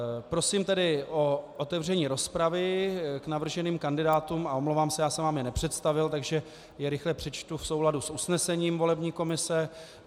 Prosím tedy o otevření rozpravy k navrženým kandidátům a omlouvám se, já jsem vám je nepředstavil, takže je rychle přečtu v souladu s usnesením volební komise.